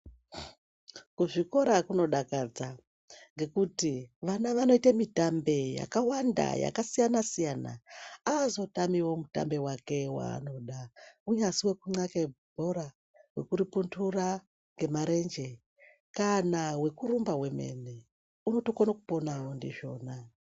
Kuzvikora kunodakadza nekuti vana vanoita mitambe ,yakawanda yakasiyana siyana hazotamiwo ,mutambe wake wanoda ungave wekukambe bhora wekuri pundura nemarenje kana wekurumba wemene unotokona kupona ndizvona.